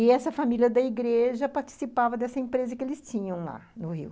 E essa família da igreja participava dessa empresa que eles tinham lá no Rio.